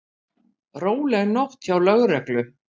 Róleg nótt hjá lögreglu